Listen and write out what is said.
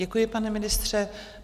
Děkuji, pane ministře.